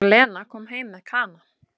Og Lena kom heim með Kana.